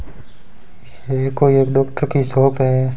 ये कोई एक डॉक्टर की शॉप है।